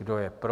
Kdo je pro?